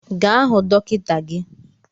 Gaa hụ dọkịta gi!